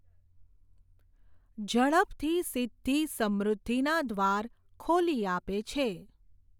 ઝડપથી સિઘ્ધિ સમૃઘ્ધિના દ્વાર ખોલી આપે છે.